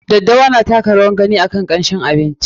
Daddawa na taka rawar gani a kamshin abinci.